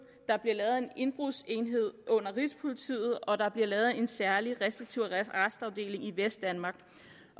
der bliver lavet en indbrudsenhed under rigspolitiet og der bliver lavet en særlig restriktiv arrestafdeling i vestdanmark